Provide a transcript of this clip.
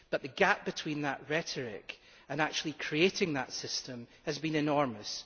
But the gap between that rhetoric and actually creating that system has been enormous.